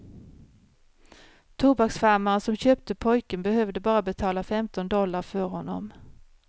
Tobaksfarmaren som köpte pojken behövde bara betala femton dollar för honom.